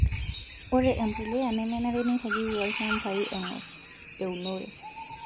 Ore empuliya nemenare neiragieki olchambai eng'or eunore.